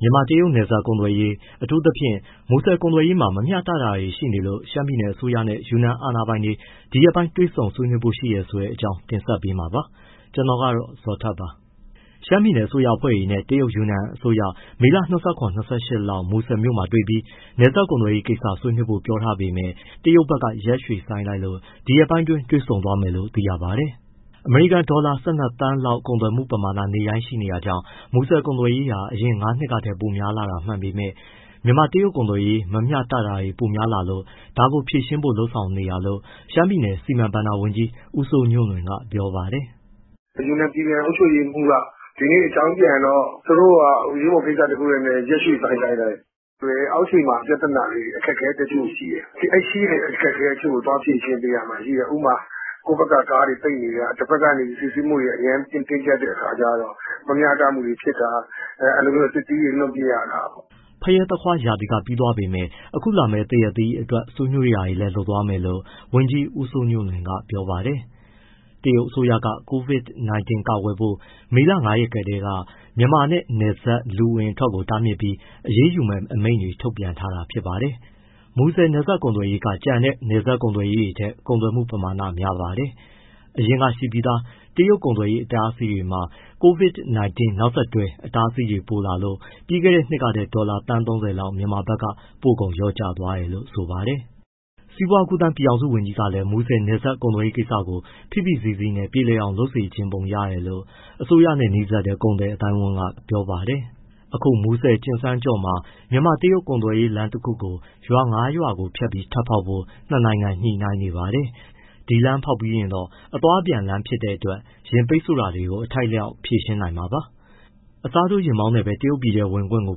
မြန်မာ- တရုတ်နယ်စပ် ကုန်သွယ်ရေး အထူသဖြင့် မူဆယ်ကုန်သွယ်ရေးမှာ မမျှတတာတွေရှိနေလို့ ရှမ်းပြည်နယ်အစိုးရနဲ့ ယူနန်အာဏာပိုင်တွေ ဒီရက်ပိုင်းတွေ့ ဆွေးနွေးဖို့ရှိတဲ့အကြောင်း ကိုဇော်ထက် တင်ဆက်ပေးမှာပါ။ ရှမ်းပြည်နယ်အစိုးရအဖွဲ့တွေနဲ့ တရုတ် ယူနန်အစိုးရ မေလ ၂၇၊ ၂၈ လောက် မူဆယ်မြို့မှာတွေ့ပြီး နယ်စပ်ကုန်သွယ်ရေးကိစ္စဆွေးနွေးဖို့ ပြောထားပေမဲ့ တရုတ်ဘက်က ရက်ရွှေ့ထားလို့ ဒီရက်ပိုင်းတွင်း တွေ့ဆုံဆွေးနွေးမယ်လို့သိရပါတယ်။ အမေရိကန်ဒေါ်လာ ၁၂သန်းလောက် ကုန်သွယ်မှုပမာဏနေ့တိုင်းရှိနေတာကြောင့် မူဆယ်ကုန်သွယ်ရေးဟာ အရင် ၅နှစ်က ထက်ပိုများလာတာမှန်ပေမဲ့ မြန်မာ- တရုတ်ကုန်သွယ်ရေး မမျှတာတွေပိုများလာလို့ ဒါကိုဖြေရှင်းဖို့လုပ်ဆောင်နေတာလို့ ရှမ်းပြည်နယ် စီမံဘဏ္ဍာဝန်ကြီး ဦးစိုးညွှန့်လွင်ကပြောပါတယ်။ “ ယူနန်ပြည်နယ် အုပ်ချုပ်ရေးမှူးက ဒီနေ့အကြောင်းပြန်တော့ သူတို့က အရေးပေါ်ကိစ္စတခုနဲ့ ရက်ရွှေ့ဆိုင်းလိုက်တယ်။ အောက်ခြေမှာ ပြဿနာ အခက်အခဲတချို့ရှိတယ်။ အဲဒီရှိတဲ့အခက်အခဲ တချို့ကို သွားဖြေရှင်းပေးရမှာ။ ဥပမာ ကိုယ့်ဘက်က ကားတွေပိတ်နေတာ တဖက်က စစ်ဆေးမှုတွေ တအားတင်းကျပ်တဲ့အခါကျတော့ မမျှတမှုတွေဖြစ်တာ သစ်သီးတွေ လွှင့်ပစ်ရတာပေါ့။” ဖရဲ၊ သခွားရာသီကပြီးသွားပေမဲ့ အခုလာမယ့် သရက်သီးအတွက် ဆွေးနွေးတာတွေလည်း လုပ်သွားမယ်လို့ ဝန်ကြီးဦးစိုးညွှန့်လွင်က ပြောပါတယ်။ တရုတ်အစိုးရက COVID-19 ကာကွယ်ဖို့ မေလ ၅ရက်ကတည်းက မြန်မာနဲ့ နယ်စပ်လူဝင်လူထွက်ကို တားမြစ်ပြီး အရေးယူမယ့် အမိန့်တွေ ထုတ်ပြန်ထားပါတယ်။ မူဆယ်နယ်စပ်ကုန်သွယ်ရေးက ကျန်တဲ့ နယ်စပ်ဂိတ်တွေထက် ကုန်သွယ်မှုပမာဏများပါတယ်။ အရင်ရှိပြီးသား တရုတ် ကုန်သွယ်ရေးအတားအဆီးတွေမှာ COVID-19 နောက်ဆက်တွဲအတားအဆီးတွေ ပိုလာလို့ ပြီးခဲ့တဲ့နှစ်ကထက် ဒေါ်လာ သန်း ၃၀ လောက် မြန်မာဘက်က ပို့ကုန်လျော့ကျသွားပါတယ်။ စီးပွားကူးသန်း ပြည်ထောင်စုဝန်ကြီးကလည်း မူဆယ်နယ်စပ်ကုန်သွယ်ရေးကိစ္စကို ဖိဖိစီးစီးနဲ့ ပြေလည်အောင်လုပ်စေချင်ပုံရတယ်လို့ အစိုးရနဲ့ နီးစပ်တဲ့ ကုန်သည်အသိုင်းအဝန်းကပြောပါတယ်။ အခုမူဆယ် ကျင်စန်းကျော့မှာ မြန်မာ- တရုတ်ကုန်သွယ်ရေးလမ်းတခုကို ရွာငါးရွာဖြတ်ပြီး ထပ်ဖောက်ဖို့ နှစ်နိုင်ငံညှိနိုင်းနေပါတယ်။ ဒီလမ်းဖောက်ပြီးရင်တော့ အသွားအပြန်လမ်းဖြစ်သွားတဲ့အတွက် ယာဉ်ပိတ်ဆို့တာကို အထိုက်အလျောက် ဖြေရှင်းနိုင်မှာပါ။ အစားထိုးယာဉ်မောင်းနဲ့ပဲ တရုတ်ပြည်ထဲဝင်ခွင့်ကို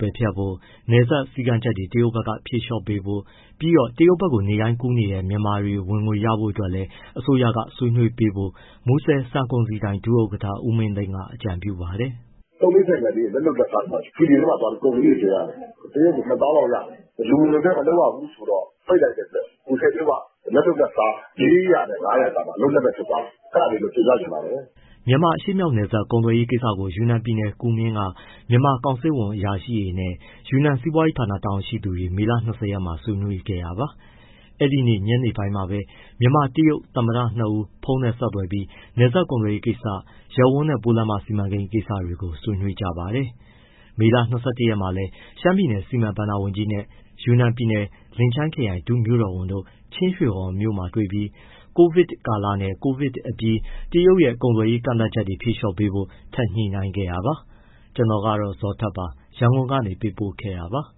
ပယ်ဖျက်ဖို့၊ နယ်စပ်စည်းကမ်းချက်တွေ တရုတ်ဘက်က ဖြေလျှော့ပေးဖို့ ပြီးတော့ တရုတ်ဘက်နေ့တိုင်းကူးနေတဲ့ မြန်မာတွေ ဝင်ငွေရဖို့အတွက်လည်း အစိုးရက ဆွေးနွေးပေးဖို့ မူဆယ် ဆန်ကုန်စည်ဒိုင် ဒုဥက္ကဋ္ဌ ဦးမင်းသိန်းကအကြံပြုပါတယ်။ “ သုံးဘီးဆိုင်ကယ်လေးတွေ၊ လက်လုပ်လက်စားတွေ ရွှေလီထဲမှာသွားပြီး ကုန်လေးတွေ တင်ရတယ်၊ တရက်ကို ၂၀၀၀၀ လောက်ရတယ်။ လူဝင်လူထွက် မလုပ်ရဘူးဆိုတော့ ပိတ်လိုက်တဲ့အတွက် မူဆယ်မြို့က လက်လုပ်လက်စား ၄၀၀ နဲ့ ၅၀၀ ကြားမှာ အလုပ်လက်မဲ့ ဖြစ်သွားတယ်။ အဲဒါလေးတော့ တင်ပြချင်ပါတယ်။” မြန်မာအရှေ့မြောက် နယ်စပ်ကုန်သွယ်ရေးကိစ္စကို ယူနန်ပြည်နယ် ကူမင်းက မြန်မာကောင်စစ်ဝန်အရာရှိတွေနဲ့ ယူနန်စီးပွားရေးဌာန တာဝန်ရှိသူတွေ မေလ ၂၀ ရက်မှာ ဆွေးနွေးခဲ့တာပါ။ အဲဒီနေ့ညနေပိုင်းမှာပဲ မြန်မာ- တရုတ် သမ္မတနှစ်ဦး ဖုန်းနဲ့ဆက်သွယ်ပြီး နယ်စပ်ကုန်သွယ်ရေး ကိစ္စ၊ ရပ်ဝန်းနဲ့ပိုးလမ်းမ စီမံကိန်းကိစ္စတွေကို ဆွေးနွေးကြပါတယ်။ မေလ ၂၁ ရက်မှာလည်း ရှမ်းပြည်နယ် စီမံဘဏ္ဍာဝန်ကြီးနဲ့ ယူနန်ပြည်နယ် လင်ချိုင်းခရိုင် ဒုမြို့တော်ဝန်တို့ ချင်းရွှေဟော်မြို့မှာ တွေ့ပြီး COVID ကာလနဲ့ COVID အပြီး တရုတ်ရဲ့ ကုန်သွယ်ရေး ကန့်သတ်ချက်တွေ ဖြေလျှော့ပေးဖို့ ထပ်ညှိနှိုင်းခဲ့တာပါ။ ကျနော်ကတော့ ဇော်ထက်ပါ ရန်ကုန်ကနေပေးပို့ခဲ့တာပါ။